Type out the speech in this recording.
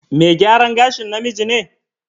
Me gyaran gashin namiji ne?